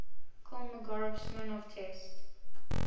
kolmogorov smirnov test